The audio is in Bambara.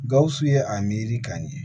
Gawusu ye a miiri k'a ɲɛ